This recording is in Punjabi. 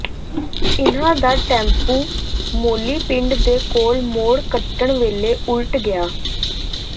ਇਨ੍ਹਾਂ ਦਾ ਟੈਂਪੂ ਮੌਲੀ ਪਿੰਡ ਦੇ ਕੋਲ ਮੋੜ ਕੱਟਣ ਵੇਲੇ ਉਲਟ ਗਿਆ